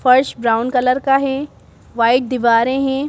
फर्श brown colour का है वाइट दीवारें हैं।